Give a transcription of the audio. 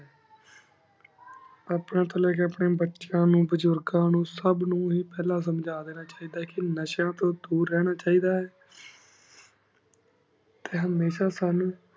ਅਪਨੀ ਤੂੰ ਲੀ ਕੀ ਅਪਨ੍ਯਨ ਬਚੇਯਾਂ ਨੂ ਬਾਜ਼ੁਰ੍ਘਾ ਨੂ ਹੀ ਫਲਾਂ ਸੁਮ੍ਜਾ ਲੇਣਾ ਚ ਹੇਇ ਦਾ ਕੀ ਨਾਸ਼ੇਯਾਂ ਤੂੰ ਦੁਰ ਰਹਨਾ ਚੀ ਦਾ ਆਯ ਟੀ ਹਮੀਸ਼ਾ ਸਾਨੂ